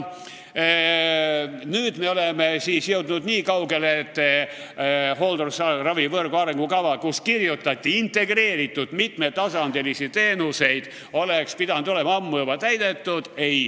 Nüüd me oleme siis jõudnud nii kaugele, et hooldusravivõrgu arengukava, kus kirjutati integreeritud mitmetasandilistest teenustest, oleks pidanud olema ammu juba täidetud.